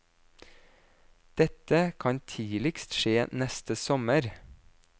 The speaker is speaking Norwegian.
Dette kan tidligst skje neste sommer.